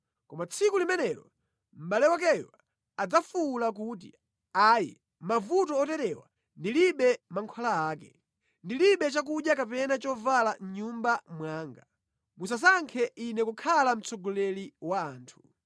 Koma tsiku limenelo mʼbale wakeyo adzafuwula kuti, “Ayi, mavuto oterewa ndilibe mankhwala ake. Ndilibe chakudya kapena chovala mʼnyumba mwanga; musasankhe ine kukhala mtsogoleri wa anthu.”